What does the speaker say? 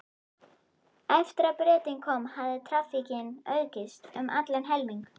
Eftir að Bretinn kom hafði traffíkin aukist um allan helming.